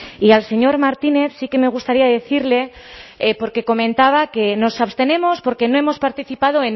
y al señor martínez sí que me gustaría decirle porque comentaba que nos abstenemos porque no hemos participado